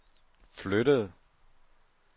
flyttede